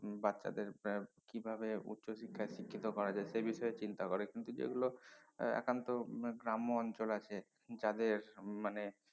বাচ্চাদের এর কিভাবে উচ্চশিক্ষায় শিক্ষিত করা যায় সে বিষয়ে চিন্তা করে কিন্তু যে গুলো আহ একান্ত উম গ্রাম্য অঞ্চলে আছে যাদের মানে